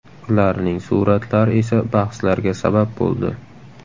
Ularning suratlari esa bahslarga sabab bo‘ldi.